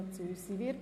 – Das ist der Fall.